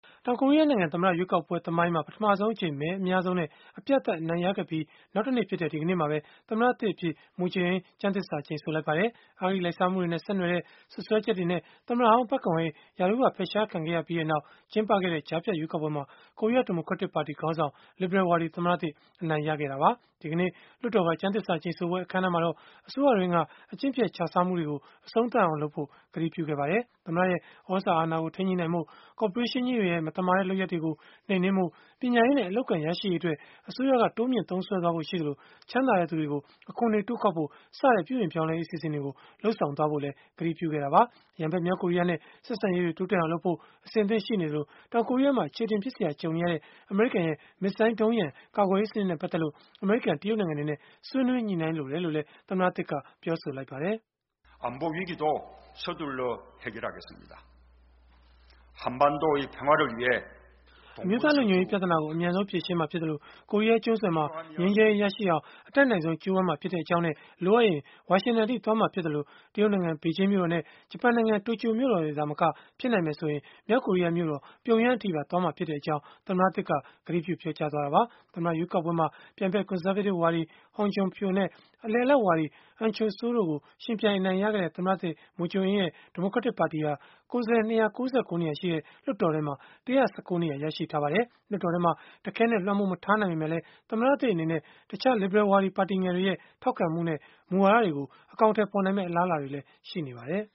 တောင်ကိုရီးယားနိုင်ငံ သမ္မတရွေးကောက်ပွဲ သမိုင်းမှာ ပထမဆုံးအကြိမ် မဲအများဆုံးနဲ့ အပြတ်အသတ် အနိုင်ရခဲ့ပြီး နောက်တနေ့ဖြစ်တဲ့ ဒီကနေ့မှာပဲ သမ္မတသစ်အဖြစ် Moon Jae-in ကျမ်းသစ္စာကျိန်ဆိုလိုက်ပါတယ်။ အဂတိလိုက်စားမှုတွေနဲ့ ဆက်နွယ်တဲ့ စွပ်စွဲချက်တွေနဲ့ သမ္မတဟောင်း Park Geun-hye ရာထူးက ဖယ်ရှားခံခဲ့ရပြီးနောက် ကျင်းပခဲ့တဲ့ ကြားဖြတ်ရွေးကောက်ပွဲမှာ ကိုရီးယားဒီမိုကရက်တစ်ပါတီ ခေါင်းဆောင် လစ်ဘရယ်ဝါဒီ သမ္မတသစ် အနိုင်ရခဲ့တာပါ။ ဒီကနေ့ လွှတ်တော်က ကျမ်းသစ္စာကျိန်ဆိုပွဲ အခမ်းအနားမှာတော့ အစိုးရတွင်းက အကျင့်ပျက် ခြစားမှုတွေကို အဆုံးသတ်အောင်လုပ်ဖို့ ကတိပြုခဲ့ပါတယ်။ သမ္မတရဲ့ သြဇာအာဏာကို ထိန်းညှိနိုင်ဖို့၊ ကော်ပိုရေးရှင်းကြီးတွေရဲ့ မသမာတဲ့ လုပ်ရပ်တွေကို နှိမ်နင်းဖို့၊ ပညာရေးနဲ့ အလုပ်အကိုင် ရရှိရေးအတွက် အစိုးရက တိုးမြှင့်သုံးစွဲသွားဖို့ ရှိသလို၊ ချမ်းသာတဲ့သူတွေကို အခွန်တွေ တိုးကောက်ဖို့ စတဲ့ ပြုပြင်ပြောင်းလဲရေး အစီအစဉ်တွေ လုပ်ဆောင်သွားဖို့လည်း ကတိပြုခဲ့တာပါ။ ရန်ဘက် မြောက်ကိုရီးယားနဲ့ ဆက်ဆံရေးတွေ တိုးတက်အောင်လုပ်ဖို့ အဆင်သင့်ရှိနေသလို၊ တောင်ကိုရီးယားမှာ အခြေအတင်ဖြစ်စရာ ကြုံနေရတဲ့ အမေရိကန်ရဲ့ မစ်ဇိုင်းဒုံးရန်ကာကွယ်ရေးစနစ်နဲ့ ပတ်သက်လို့ အမေရိကန်၊ တရုတ်နိုင်ငံတွေနဲ့ ဆွေးနွေးညှိနှိုင်းလိုတယ်လို့လည်း ပြောဆိုခဲ့ပါတယ်။ "အမျိုးသားလုံခြုံရေး ပြဿနာကို အမြန်ဆုံးဖြေရှင်းမှာဖြစ်သလို၊ ကိုရီးယားကျွန်းဆွယ်မှာ ငြိမ်းချမ်းရေးရရှိအောင် အတတ်နိုင်ဆုံး ကြိုးပမ်းမှာ ဖြစ်ကြောင်းနဲ့ လိုအပ်ရင် ဝါရှင်တန်အထိ သွားမှာဖြစ်သလို၊ တရုတ်နိုင်ငံ ဘေဂျင်းမြို့တော်နဲ့ ဂျပန်နိုင်ငံ တိုကျိုမြို့တော်တွေ သာမက ဖြစ်နိုင်မယ်ဆိုရင် မြောက်ကိုရီးယားမြို့တော် ပြုံယမ်းအထိပါ သွားမှာဖြစ်ကြောင်း" သမ္မတသစ်က ကတိပြုပြောကြားခဲ့တာပါ။ သမ္မတရွေးကောက်ပွဲမှာ ပြိုင်ဘက် ကွန်ဆာဗေးတစ်ဝါဒီ Hong Joon-pyo နဲ့ အလယ်အလတ်ဝါဒီ Ahn Cheol-soo တို့ကို ယှဉ်ပြိုင် အနိုင်ရခဲ့တဲ့ သမ္မတသစ် Moon Jae-in ရဲ့ ဒီမိုကရက်တစ်ပါတီဟာ ကိုယ်စားလှယ် ၂၉၉ နေရာရှိတဲ့ လွှတ်တော်ထဲမှာ ၁၁၉ နေရာ ရရှိထားပါတယ်။ လွှတ်တော်ထဲမှာ တခဲနက် လွှမ်းမိုးမထားနိုင်ပေမဲ့လည်း သမ္မတသစ် အနေနဲ့ တခြားလစ်ဘရယ်ဝါဒီ ပါတီငယ်တွေရဲ့ ထောက်ခံမှုနဲ့ မူဝါဒတွေကို အကောင်အထည်ဖော်နိုင်မယ့် အလားအလာတွေလည်း ရှိနေပါတယ်